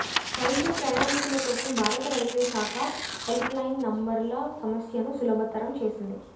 railway ప్రయాణికుల కోసం భారత రైల్వే శాఖ హెల్ప్లైన్ నంబర్ల సమస్యను సులభతరం చేసింది